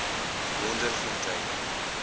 wonderfontein